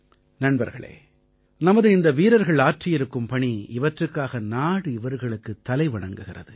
நண்பர்களே நமது இந்த வீரர்கள் ஆற்றியிருக்கும் பணி இவற்றுக்காக நாடு இவர்களுக்குத் தலை வணங்குகிறது